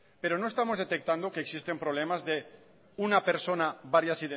pero no estamos detectando que existen problemas de una persona varias